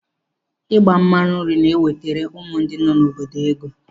Ịgba mmanụ nri na-ewetara ụmụ nọ n'obodo ego.